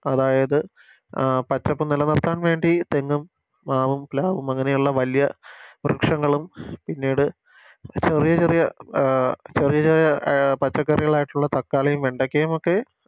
അതായത് പച്ചപ്പ് നിലനിർത്താൻ വേണ്ടി തെങ്ങും മാവും പ്ലാവും അങ്ങനെയുള്ള വല്യ വൃക്ഷങ്ങളും പിന്നീട് ചെറിയ ചെറിയ അഹ് ചെറിയ ചെറിയ പച്ചക്കറികളായിട്ടുള്ള തക്കാളിയും വെണ്ടക്കയുമൊക്കെ